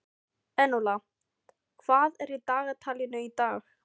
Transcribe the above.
Enóla, hvað er í dagatalinu í dag?